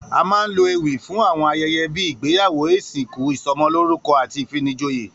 A máa ń lo ewì fún àwo̩n aye̩ye̩ bí ìgbéyàwó, ìsìnkú, ìso̩mo̩lórúko̩ àti ìfinijoyè